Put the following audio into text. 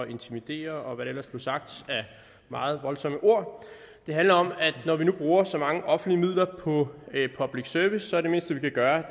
intimidere og hvad der ellers blev sagt af meget voldsomme ord det handler om at når vi nu bruger så mange offentlige midler på public service er det mindste vi kan gøre